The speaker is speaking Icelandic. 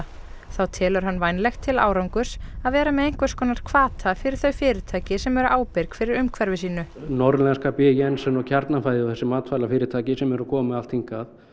þá telur hann vænlegt til árangurs að vera með einhvers konar hvata fyrir þau fyrirtæki sem eru ábyrg fyrir umhverfi sínu norðlenska b jensen og Kjarnafæði og þessi matvælafyrirtæki sem eru að koma með allt hingað